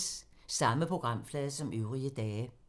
Samme programflade som øvrige dage